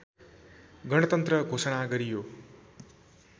गणतन्त्र घोषणा गरियो